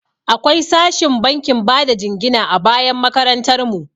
Akwai sashin bankin bada jingina a bayan makarantar mu.